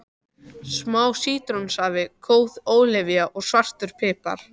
Smá sítrónusafi, góð ólífuolía og svartur pipar.